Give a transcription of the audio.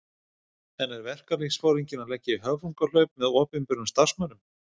En er verkalýðsforinginn að leggja í höfrungahlaup með opinberum starfsmönnum?